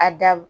A da